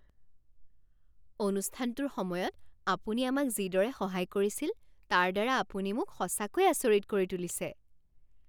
অনুষ্ঠানটোৰ সময়ত আপুনি আমাক যি দৰে সহায় কৰিছিল তাৰ দ্বাৰা আপুনি মোক সঁচাকৈয়ে আচৰিত কৰি তুলিছে!